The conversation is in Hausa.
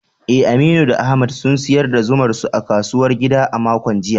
Eh, Aminu da Ahmad sun sayar da zumar su a kasuwar gida a makon jiya.